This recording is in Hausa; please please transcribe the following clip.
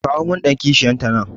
Ka kawi min dan kishiya ta nan